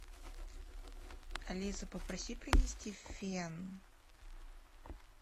алиса попроси принести фен